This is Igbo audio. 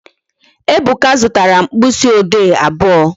Ebuka zụtara mkpịsị ode abụọ